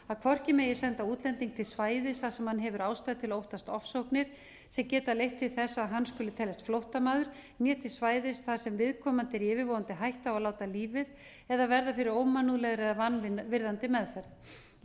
að hvorki megi senda útlending til svæðis þar sem hann hefur ástæðu til að óttast ofsóknir sem geta leitt til þess að hann skuli teljast flóttamaður né þess svæðis þar sem viðkomandi er í yfirvofandi hættu á að láta lífið eða verða fyrir ómannúðlegri eða vanvirðandi meðferð í